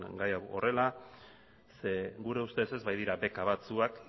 gai horrela zeren gure ustez ez baitira beka